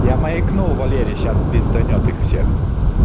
я маякну валере сейчас пизданет их всех